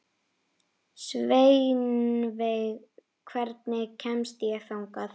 Sveinveig, hvernig kemst ég þangað?